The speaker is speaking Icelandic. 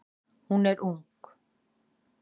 Hún er ung.